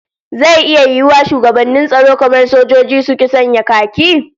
Zai iya yiwuwa shugabannin tsaro kamar sojoji, su ki sanya khaki?